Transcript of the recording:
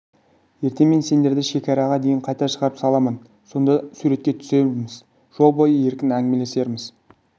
ертең мен сендерді шекараға дейін қайта шығарып саламын сонда суретке де түсерміз жол бойы еркін әңгімелесерміз